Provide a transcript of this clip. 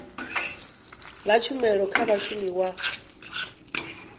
fha tshumelo kha mushumi wa